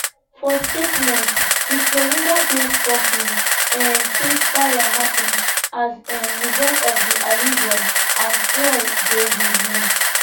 for statement di floridabased company um say fire happun as a um result of di allision and fuel dey released